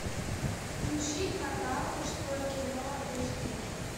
включи канал мужское кино эш ди